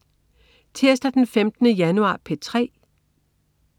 Tirsdag den 15. januar - P3: